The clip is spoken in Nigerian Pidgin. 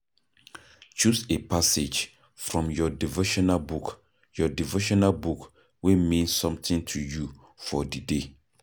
Choose a passage from your devotional book your devotional book wey mean something to you for di day